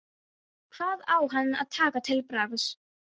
Hvað á hann að taka til bragðs?